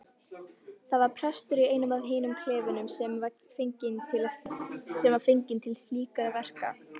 Það var prestur í einum af hinum klefunum sem var fenginn til slíkra verka.